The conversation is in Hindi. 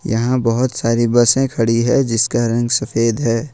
यहां बहुत सारी बसे है खड़ी है जिसका रंग सफेद है।